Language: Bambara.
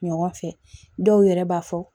Ɲɔgɔn fɛ dɔw yɛrɛ b'a fɔ